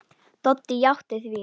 Doddi játti því.